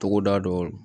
Togoda dɔw la